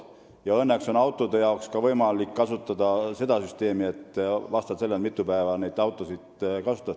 Ja õnneks on autode puhul võimalik kasutada seda süsteemi, et sa maksad vastavalt sellele, mitu päeva sa neid autosid kasutad.